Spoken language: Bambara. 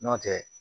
N'o tɛ